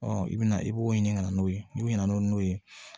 i bɛna i b'o ɲini ka na n'o ye n'u nana n'o n'o ye